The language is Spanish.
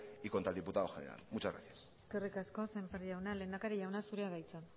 y contra el diputado general muchas gracias eskerrik asko sémper jauna lehendakari jauna zurea da hitza